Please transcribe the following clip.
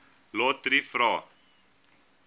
lotriet vra